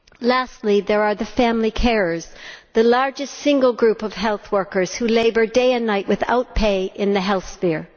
Lastly, there are the family carers, the largest single group of health workers who labour day and night without pay in the health sphere.